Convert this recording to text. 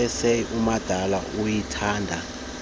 essays umadala uyayithanda